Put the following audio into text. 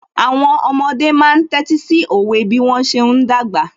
Àwọn ọmọdé máa ń tẹ́tí sí òwe bí wọ́n ṣe ń dàgbà